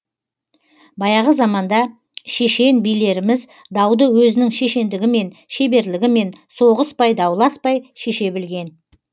баяғы заманда шешен билеріміз дауды өзінің шешендігімен шеберлігімен соғыспай дауласпай шеше білген